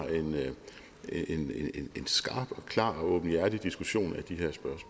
en skarp og klar og åbenhjertig diskussion af de